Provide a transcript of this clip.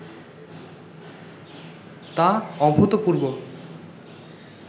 তা অভূতপূর্ব